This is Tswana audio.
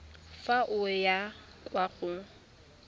fa o ya kwa go